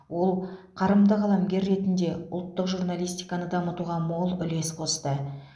ол қарымды қаламгер ретінде ұлттық журналистиканы дамытуға мол үлес қосты